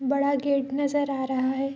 बड़ा गेट नजर आ रहा है।